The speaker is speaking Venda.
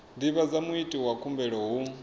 divhadza muiti wa khumbelo hu